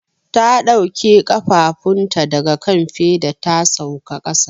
Ta dauke kafafunta daga kan feda ta sauka kasa.